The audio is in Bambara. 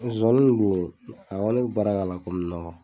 a kɔni min baara k'a la komi nɔgɔ.